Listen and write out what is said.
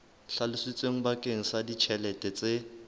hlalositsweng bakeng sa ditjhelete tse